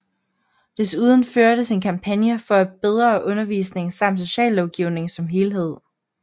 Desuden førtes en kampagne for bedre undervisning samt sociallovgivning som helhed